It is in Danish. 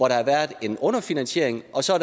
der har været en underfinansiering og så